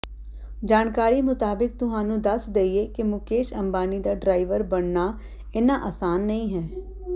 ਜਾਣਕਾਰੀ ਮੁਤਾਬਿਕ ਤੁਹਾਨੂੰ ਦੱਸ ਦੇਈਏ ਕਿ ਮੁਕੇਸ਼ ਅੰਬਾਨੀ ਦਾ ਡਰਾਈਵਰ ਬਨਣਾ ਇੰਨਾ ਆਸਾਨ ਨਹੀਂ ਹੈ